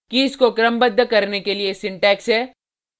keys को क्रमबद्ध करने के लिए सिंटेक्स है